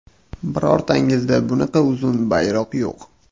Birortangizda bunaqa uzun bayroq yo‘q.